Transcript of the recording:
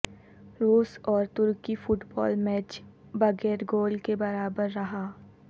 روس اور ترکی فٹ بال میچ بغیر گول کےبرابر رہا